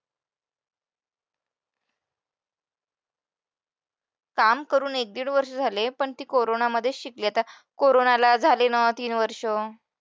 काम करून एक-दीड वर्ष झाले पण ती कोरोना मध्ये शिकली कोरोनाला झाले ना तीन वर्षं.